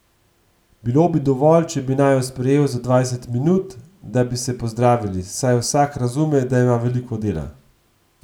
Bilo bi dovolj, če bi naju sprejel za dvajset minut, da bi se pozdravili, saj vsak razume, da ima veliko dela.